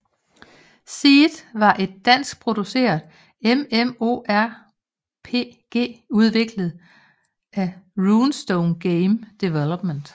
Seed var et danskproduceret MMORPG udviklet af Runestone Game Development